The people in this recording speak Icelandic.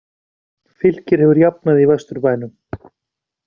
Fylkir hefur jafnað í Vesturbænum